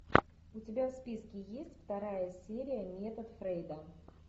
у тебя в списке есть вторая серия метод фрейда